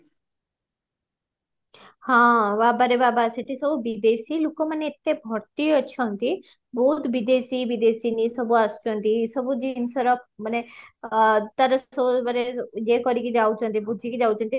ହଁ ବାବାରେ ବାବା ସେଠି ସବୁ ବିଦେଶୀ ଲୋକ ମାନେ ଏତେ ଭର୍ତି ଅଛନ୍ତି ବହୁତ ବିଦେଶୀ ବିଦେଶିନୀ ସବୁ ଆସୁଛନ୍ତି ସବୁ ଜିନିଷର ମାନେ ଅ ତାର ସବୁ ମାନେ ଇଏ କରିକି ଯାଉଚନ୍ତି ବୁଝିକି ଯାଉଚନ୍ତି